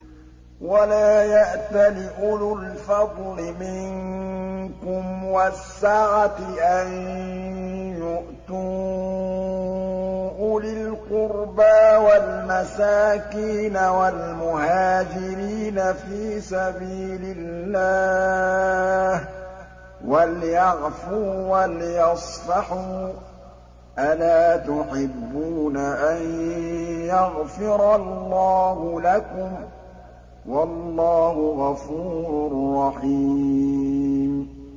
وَلَا يَأْتَلِ أُولُو الْفَضْلِ مِنكُمْ وَالسَّعَةِ أَن يُؤْتُوا أُولِي الْقُرْبَىٰ وَالْمَسَاكِينَ وَالْمُهَاجِرِينَ فِي سَبِيلِ اللَّهِ ۖ وَلْيَعْفُوا وَلْيَصْفَحُوا ۗ أَلَا تُحِبُّونَ أَن يَغْفِرَ اللَّهُ لَكُمْ ۗ وَاللَّهُ غَفُورٌ رَّحِيمٌ